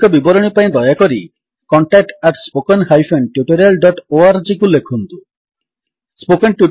ଅଧିକ ବିବରଣୀ ପାଇଁ ଦୟାକରି contact at spoken hyphen tutorial dot ଓଆରଜିକୁ ଲେଖନ୍ତୁ contactspoken tutorialଓଆରଜି